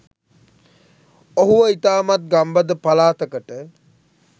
ඔහුව ඉතාමත් ගම්බද පලාතකට